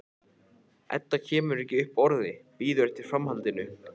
Edda kemur ekki upp orði, bíður eftir framhaldinu.